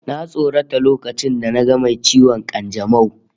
Na tsorata lokacin da naga mai ciwon kanjamau